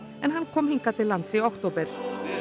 en hann kom hingað til lands í október